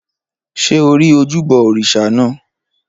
Ṣé o rí ojúbọ òrìṣà naa?